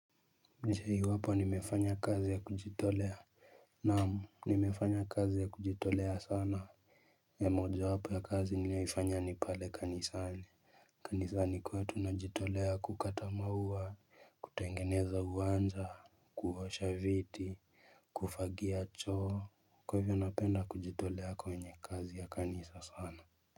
Je iwapo nimefanya kazi ya kujitolea Naam nimefanya kazi ya kujitolea sana ya moja wapo ya kazi ninaifanya ni pale kanisani kanisani kwetu tunajitolea kukata maua, kutengeneza uwanja, kuosha viti, Kufagia choo, Kwa hivyo napenda kujitolea kwenye kazi ya kanisa sana.